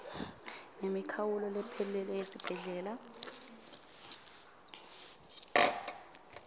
ngemikhawulo lephelele yesibhedlela